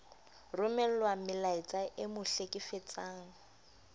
romellwa melaetsa e mo hlekefetsang